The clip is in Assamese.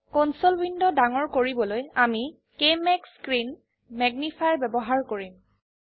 কনসোল উইন্ডো ডাঙৰ কৰিবলৈ আমি কেএমএজি স্ক্ৰিন ম্যাগনিফায়াৰ ব্যবহাৰ কৰিম